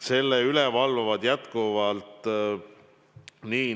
Selle üle valvavad jätkuvalt